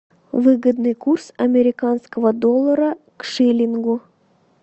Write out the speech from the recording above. выгодный курс американского доллара к шиллингу